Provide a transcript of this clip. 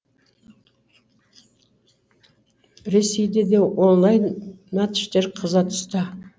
ресейде де онлайн матчтар қыза түсті